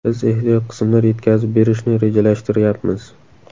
Biz ehtiyot qismlar yetkazib berishni rejalashtiryapmiz.